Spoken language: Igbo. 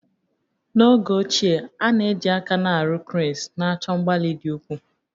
N'oge ochie, a na-eji aka na-arụ cranes, na-achọ mgbalị dị ukwuu